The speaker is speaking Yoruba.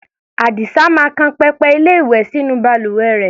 Àdìsá máa kan pẹpẹ-ilé-ìwẹ̀ sínú balùwẹ rẹ̀.